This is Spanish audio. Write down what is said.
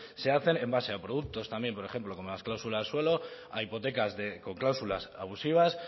se hacen en base a productos también por ejemplo como las cláusulas suelo a hipotecas con cláusulas abusivas